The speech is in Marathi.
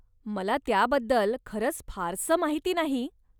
मला त्याबद्दल खरंच फारसं माहिती नाही.